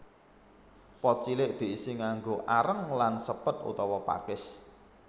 Pot cilik diisi nganggo areng lan sepet utawa pakis